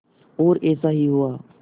और ऐसा ही हुआ